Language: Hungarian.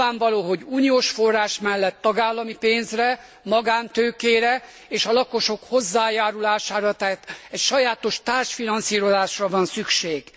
Nyilvánvaló, hogy uniós forrás mellett tagállami pénzre, magántőkére és a lakosok hozzájárulására, tehát egy sajátos társfinanszírozásra van szükség.